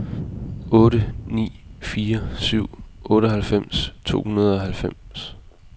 otte ni fire syv otteoghalvfems to hundrede og halvfems